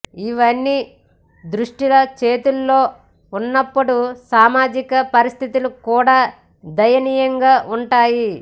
ఇవన్నీ దుష్టుల చేతుల్లో ఉన్నప్పుడు సామాజిక పరిస్థితులు కూడా దయనీయంగా ఉంటాయి